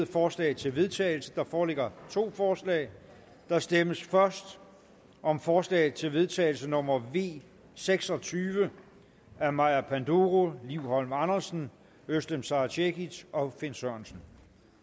forslag til vedtagelse der foreligger to forslag der stemmes først om forslag til vedtagelse nummer v seks og tyve af maja panduro liv holm andersen özlem sara cekic og finn sørensen